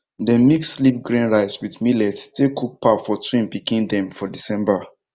dem mix sleep grain rice with millet take cook pap for twin pikin dem for december